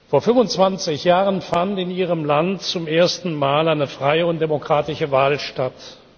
Vor 25 Jahren fand in Ihrem Land zum ersten Mal eine freie und demokratische Wahl statt.